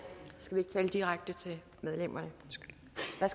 skal vi ikke tale direkte til medlemmerne